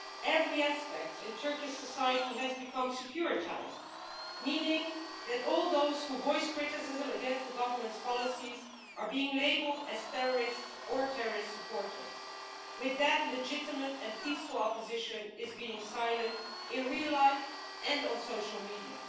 Every aspect of Turkish society has become securitised, meaning that all those who voice criticism of the Government's policies are being labelled as terrorists or terrorist supporters. Legitimate and peaceful opposition is thus being silenced, in real life and on social media.